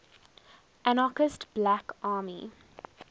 anarchist black army